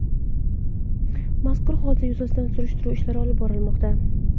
Mazkur hodisa yuzasidan surishtiruv ishlari olib borilmoqda.